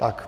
Tak.